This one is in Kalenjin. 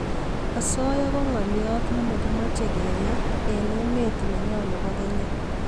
asoya ko ngalyo ne makimache keyai eng emet nenyo nebo kenya